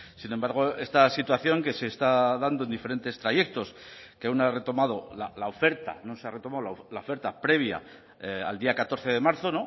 sin embargo esta situación que se está dando en diferentes trayectos que aún no ha retomado la oferta no se ha retomado la oferta previa al día catorce de marzo